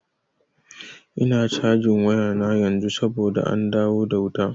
Ina cajin wayana yanzu saboda an dawo da wuta.